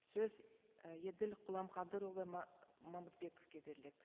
сөз і еділ құламқадырұлы мамытбековке беріледі